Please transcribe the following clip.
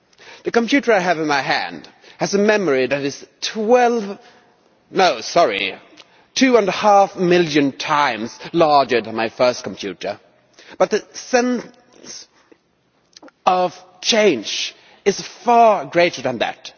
The computer I have in my hand has a memory that is two and a half million times larger than my first computer, but the sense of change is far greater than that.